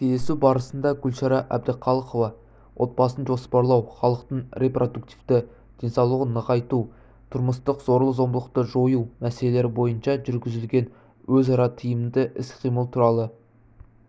кездесу барысында гүлшара әбдіқалықова отбасын жоспарлау халықтың репродуктивті денсаулығын нығайту тұрмыстық зорлық-зомбылықты жою мәселелері бойынша жүргізілген өзара тиімді іс-қимыл туралы